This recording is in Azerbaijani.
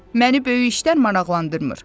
Məni böyük işlər maraqlandırmır."